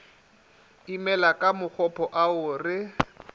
imela ka makgopo ao re